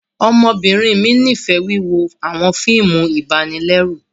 Ọmọbinrin mi nifẹ wiwo awọn fíìmù ibanilẹru